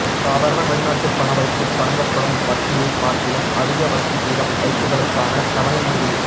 சாதாரண வெளிநாட்டு பண வைப்புக்கு வழங்கப்படும் வட்டியைப் பார்க்கிலும் அதிக வட்டி வீதம் வைப்புகளுக்கான தவணை முடிவில்